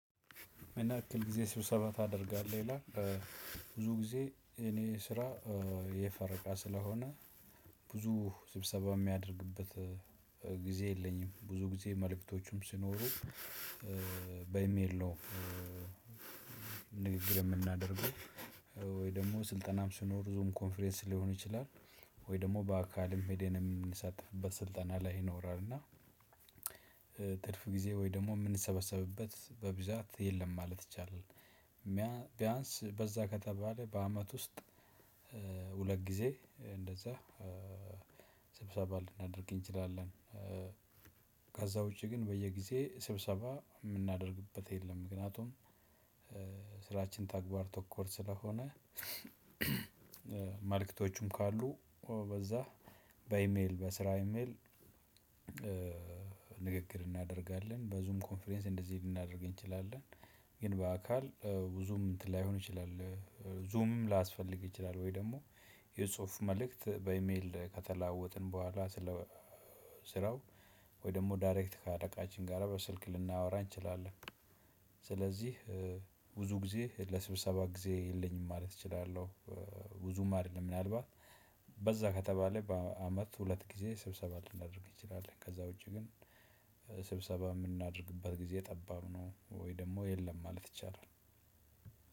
ምንያክል ጊዜ ስብሰባ ታደርጋለህ ይላል? ብዙ ጊዜ የእኔ ስራ የፈረቀ ስለሆነ ብዙ ስብሰባ እማደርግበት ጊዜ የለኝም ብዙ ጊዜ መልእክቶቹም ሲኖሩ በኢሜል ነው። ንግግር የምናደርገው ወይ ደግሞ ስልጠናም መኖር ዞም ኮንፈረንስ ሊሆን ይችላል። ወይ ደግሞ በአካልም ሄደን የምንሳተፍበት ስልጠና ላይ ይኖራል እና። ትርፍ ጊዜ ወይ ደግሞ እምንሰበሰብበት በብዛት የለም ማለት ይቻላል። ቢያንስ በዛ ከተባለ በአመት ውስጥ ሁለት ጊዜ እንደዛ ስብሰባ ልናደርግ እንችላለን። ከዛ ውጪ ግን በየጊዜ ስብሰባ የምናደርግበት የለም። ምክንያቱም ስራችን ተግባር ተኮር ስለሆነ። ማልክቶቹም ካሉ በዛ በኢሜል በስራ ኢሜል። ንግግር እናደርጋለን በዙም ኮንፈረንስ እንደዚህ ልናደርግ እንችላለን። ግን በአካል ብዙም እንትን ላይሆን ይችላል። ዙምም ላያስፈልግ ይችላል ወይ ደግሞ የጽሁፍ መልእክት በኢሜል ከተለዋወጥን በኋላ ስለ ስራው ወይ ደግሞ ዳይሬክት ከአለቃችን ጋር በስልክ ልናወራ እንችላለን። ስለዚህ ብዙ ጊዜ ለስብሰባ ጊዜ የለኝም ማለት እችላለሁ። ብዙም አይደለም ምናልባት በዛ ከተባለ በአመት ሁለት ጊዜ ስብሰባ ልናደርግ እንችላለን። ከዛ ውጪ ግን ስብሰባ የምናደርግበት ጊዜ ጠባብ ነው ወይ ደግሞ የለም ማለት ይቻላል።